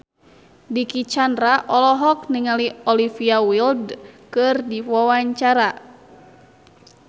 Dicky Chandra olohok ningali Olivia Wilde keur diwawancara